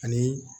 Ani